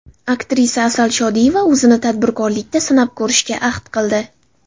Aktrisa Asal Shodiyeva o‘zini tadbirkorlikda sinab ko‘rishga ahd qildi.